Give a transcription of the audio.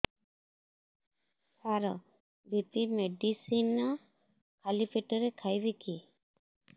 ସାର BP medicine ଖାଲି ପେଟରେ ଖାଇବି କି